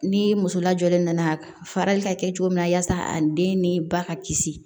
Ni muso lajɔlen nana fara ka kɛ cogo min na yasa a den ni ba ka kisi